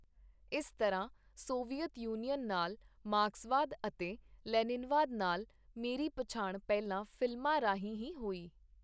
ਇਸ ਤਰ੍ਹਾਂ Soviet Union ਨਾਲ, ਮਾਰਕਸਵਾਦ ਅਤੇ ਲੈਨਿਨਵਾਦ ਨਾਲ, ਮੇਰੀ ਪਛਾਣ ਪਹਿਲਾਂ ਫ਼ਿਲਮਾਂ ਰਾਹੀਂ ਹੀ ਹੋਈ.